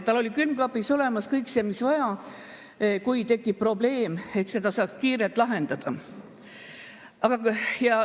Tal oli külmkapis olemas kõik see, mis vaja, et kui tekib probleem, siis saaks seda kiirelt lahendada.